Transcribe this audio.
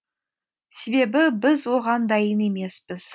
себебі біз оған дайын емеспіз